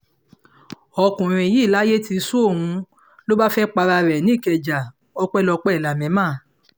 ọkùnrin yìí layé ti sú òun ló bá fẹ́ẹ́ para ẹ̀ nìkẹ́ja ọpẹ́lọpẹ́ lámẹ́mà